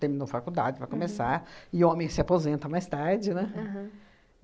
Terminou faculdade, vai começar, e homem se aposenta mais tarde, né? Aham.